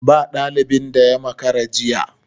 Ba dalibin da ya makara jiya.